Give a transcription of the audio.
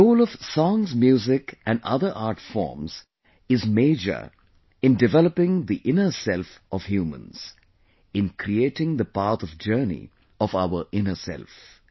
The role of songs music and other art forms is major in developing the inner self of humans, in creating the path of journey of our inner self